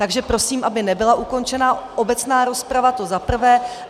Takže prosím, aby nebyla ukončena obecná rozprava, to za prvé.